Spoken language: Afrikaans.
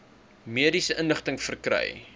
mediese inligting verkry